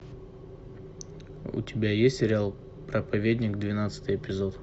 у тебя есть сериал проповедник двенадцатый эпизод